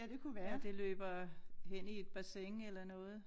At det løber hen i et bassin eller noget